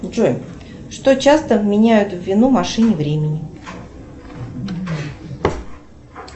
джой что часто вменяют в вину машине времени